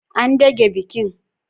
An dage bikin.